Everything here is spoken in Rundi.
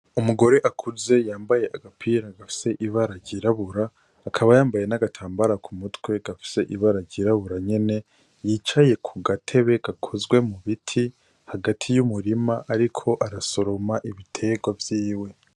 Umugore akuze yambaye umupira ufise wirabura akaba yambaye nagatambara ku mutwe gafise ibara ryirabura nyen yicaye ku gatebe gakozwe mu biti hagati y'umurima ariko arasoroma ibitegwa vyiwe.